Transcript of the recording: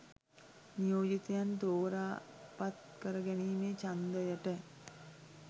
නියෝජිතයන් තෝරා පත් කර ගැනීමේ ඡන්දයට